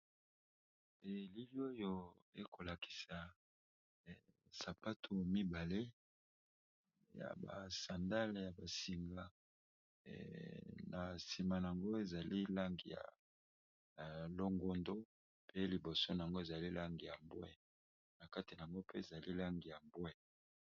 Elili oyo eko lakisa sapato mibale ya ba sandale ya ba singa na sima yango ezali langi ya longondo mpe liboso nango ezali langi ya mbwe, na kati yango mpe zali langi ya mbwe .